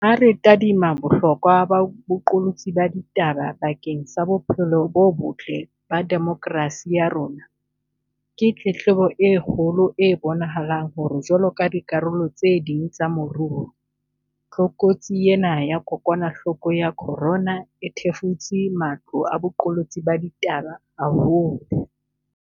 Ha re tadima bohlokwa ba boqolotsi ba ditaba bakeng sa bophelo bo botle ba demokrasi ya rona, ke tletlebo e kgolo e bonahalang hore jwaloka dikarolo tse ding tsa moruo, tlokotsi ena ya kokwanahloko ya corona e thefutse matlo a boqolotsi ba ditaba haholo.